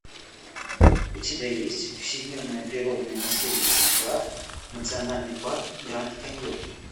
у тебя есть всемирное природное наследие сша национальный парк гранд каньон